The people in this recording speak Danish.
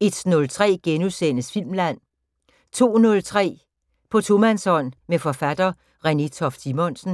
01:03: Filmland * 02:03: På tomandshånd med forfatter Renée Toft Simonsen